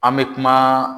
An bɛ kuma